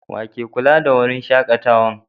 Wa ke kulla da wurin shakatawan?